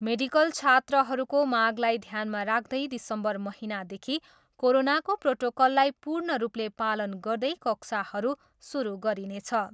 Medical छात्रहरूको मागलाई ध्यानमा राख्दै दिसम्बर महिनादेखि कोरोनाको प्रोटोकललाई पूर्ण रूपले पालन गर्दै कक्षाहरू सुरु गरिनेछ।